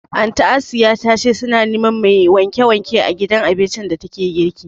Anty Asiya ta ce su na neman mai wanke wanke a gidan abincin da ta ke girki